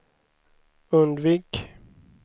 undvik